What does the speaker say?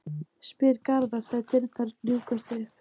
spyr Garðar þegar dyrnar ljúkast upp.